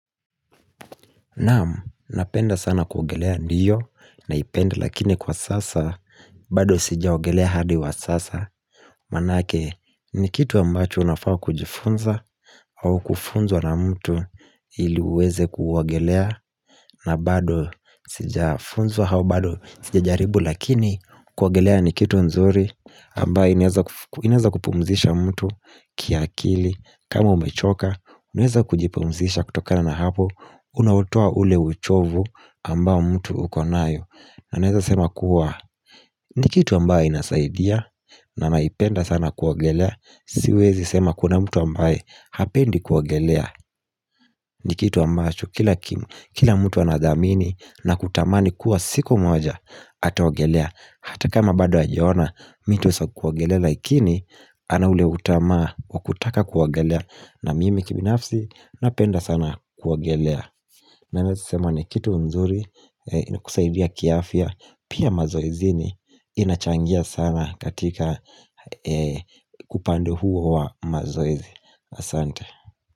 Naam, napenda sana kuogelea ndiyo naipenda lakini kwa sasa, bado sijaogelea hadi wa sasa, maanake ni kitu ambacho unafaa kujifunza au kufunzwa na mtu ili uweze kuogelea na bado sijafunzwa au bado sijajaribu lakini kuoyogelea ni kitu nzuri ambayo inaeza inaeza kupumzisha mtu kiakili, kama umechoka, unaweza kujipumzisha kutokana na hapo, Unauotua ule uchovu ambao mtu uko nayo na naeza sema kuwa ni kitu ambaye inasaidia na naipenda sana kuogelea Siwezi sema kuna mtu ambaye hapendi kuogelea ni kitu ambacho kila kimu Kila mtu anathamini na kutamani kuwa siku moja Ataogelea Hata kama bado hajaona mitu sa kuogelea Lakini ana ule utamaa wa kutaka kuogelea na mimi kibinafsi napenda sana kuogelea Naweza sema ni kitu mzuri inakusaidia kiafya pia mazoezini inachangia sana katika upande huo wa mazoezi asante.